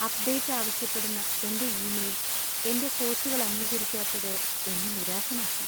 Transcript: Update ആവശ്യപ്പെടുന്ന എന്‍റെ email എന്‍റെ കോച്ചുകൾ അംഗീകരിക്കാത്തത് എന്നെ നിരാശനാക്കി.